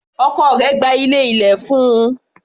Ọkọ rẹ̀ gba ilé ilẹ̀ fún un.